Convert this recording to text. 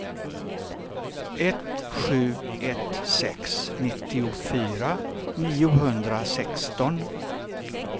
ett sju ett sex nittiofyra niohundrasexton